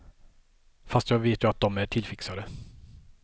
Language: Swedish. Fast jag vet ju att de är tillfixade.